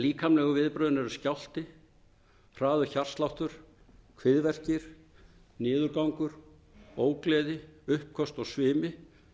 líkamlegu viðbrögðin eru skjálfti hraður hjartsláttur kviðverkir niðurgangur ógleði uppköst og svimi